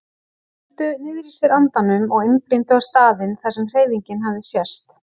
Þeir héldu niðri í sér andanum og einblíndu á staðinn þar sem hreyfingin hafði sést.